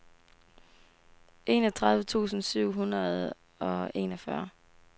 enogtredive tusind syv hundrede og enogfyrre